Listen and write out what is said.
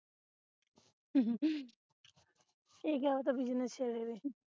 ਏਹ ਕਿਆ ਪਤਾ business ਚਲੇ ਦੇ